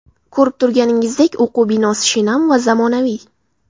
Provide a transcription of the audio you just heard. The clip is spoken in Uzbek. Ko‘rib turganingizdek, o‘quv binosi shinam va zamonaviy.